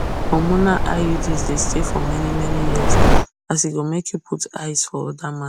hormonal iuds dey stay for manymany years as e go make you put eyes for other matters